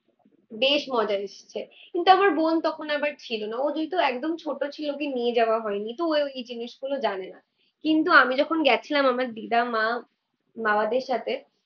বেশ মজা এসছে। কিন্তু আমার বোন তখন আবার ছিলোনা, ও যেহেতু একদম ছোট ছিল ওকে নিয়ে যাওয়া হয়নি। তো ও এই জিনিসগুলো জানে না। কিন্তু আমি যখন গেছিলাম আমার দিদা, মা, বাবাদের সাথে